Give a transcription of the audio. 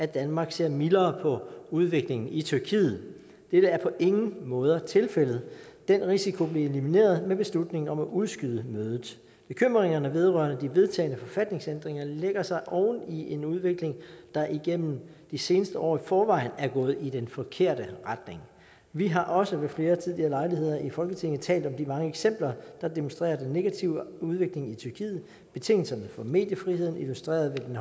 danmark ser mildere på udviklingen i tyrkiet dette er på ingen måde tilfældet den risiko blev elimineret med beslutningen om at udskyde mødet bekymringerne vedrørende de vedtagne forfatningsændringer lægger sig oven i en udvikling der igennem de seneste år i forvejen er gået i den forkerte retning vi har også ved flere tidligere lejligheder i folketinget talt om de mange eksempler der demonstrerer den negative udvikling i tyrkiet betingelserne for mediefriheden illustreret ved